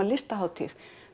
Listahátíð